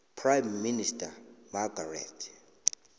prime minister margaret